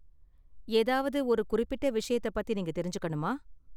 ஏதாவது ஒரு குறிப்பிட்ட விஷயத்த பத்தி நீங்க தெரிஞ்சுக்கணுமா?